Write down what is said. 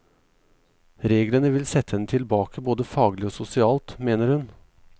Reglene vil sette henne tilbake både faglig og sosialt, mener hun.